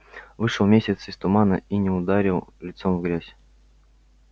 вышел месяц из тумана и не ударил лицом в грязь